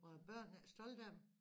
Var børnene ikke stolte af dem